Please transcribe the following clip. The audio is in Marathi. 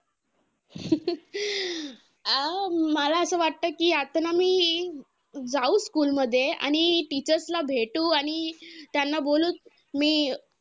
हा मला असं वाटतं कि, असं ना मी जाऊ school मध्ये. आणि teachers ला भेटू आणि त्यांना बोलू मी